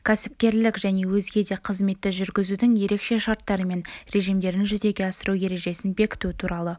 кәсіпкерлік және өзге де қызметті жүргізудің ерекше шарттары мен режимдерін жүзеге асыру ережесін бекіту туралы